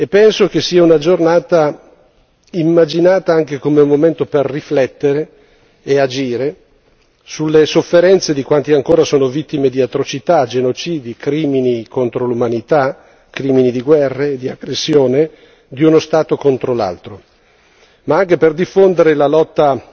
Penso che sia una giornata immaginata anche come un momento per riflettere e agire sulle sofferenze di quanti ancora sono vittime di atrocità, genocidi, crimini contro l'umanità, crimini di guerra e di aggressione di uno Stato contro un altro, ma anche per diffondere la lotta